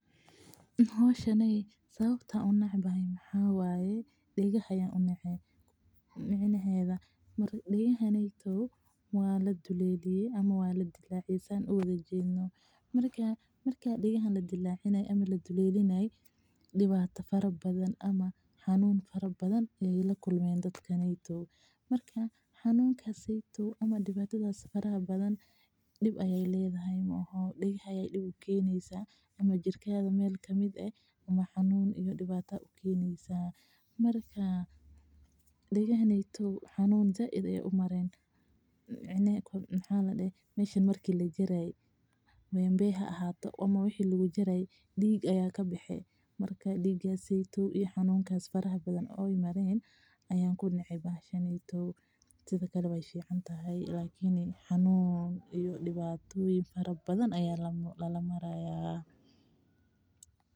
Howshan sababta aan unecbahay waxa waye degaha ayaan unece degaha ayaa ladileliye marka xanuun ayaa lakulmeen dibata ayaa jirkaada ukeneysa xanuun ayeey umareen, diig ayaa kabexe dibata iyo xanuun fara badan ayaa lala maraaya.